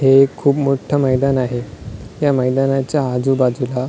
हे एक खूप मोठं मैदान आहे या मैदानाच्या आजूबाजूला --